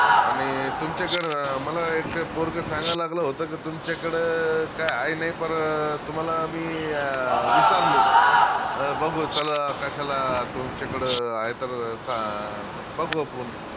आनि तुमच्याकडं मला एक पोरग सांगा लागलं होत का तुमच्याकडं काई आहे नाई पर तुम्हाला मी अं विचारलो अं बघू चला कश्याला तुमच्याकडं आहे तर बघू आपुन